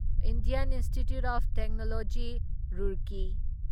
Indian institute of technology Roorkee